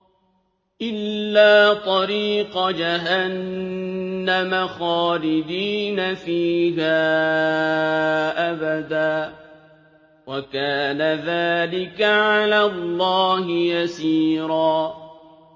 إِلَّا طَرِيقَ جَهَنَّمَ خَالِدِينَ فِيهَا أَبَدًا ۚ وَكَانَ ذَٰلِكَ عَلَى اللَّهِ يَسِيرًا